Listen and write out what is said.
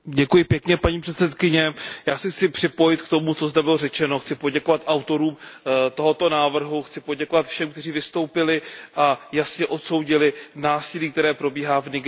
Paní předsedající, já se chci připojit k tomu, co zde bylo řečeno. Chci poděkovat autorům tohoto návrhu, chci poděkovat všem, kteří vystoupili a jasně odsoudili násilí, které probíhá v Nigérii.